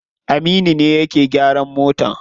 Aminu ne yake gyaran mota.